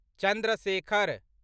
Chandra Shekhar